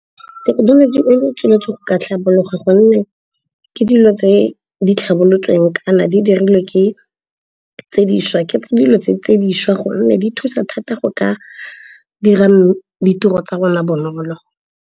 Thekenoloji e tsweletseng go ka tlhabologo gonne ke dilo tse di tlhabolotsweng, kana di dirilwe ke dilo tse dišwa gonne di thusa thata go ka dira ditiro tsa rona bonolo.